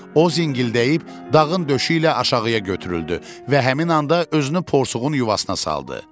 O zingildəyib dağın döşü ilə aşağıya götürüldü və həmin anda özünü porsuğun yuvasına saldı.